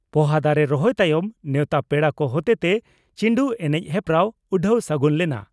ᱯᱚᱦᱟ ᱫᱟᱨᱮ ᱨᱚᱦᱚᱭ ᱛᱟᱭᱚᱢ ᱱᱮᱣᱛᱟ ᱯᱮᱲᱟ ᱠᱚ ᱦᱚᱛᱮᱛᱮ ᱪᱤᱱᱰᱩ ᱮᱱᱮᱡ ᱦᱮᱯᱨᱟᱣ ᱩᱰᱷᱟᱹᱣ ᱥᱟᱹᱜᱩᱱ ᱞᱮᱱᱟ ᱾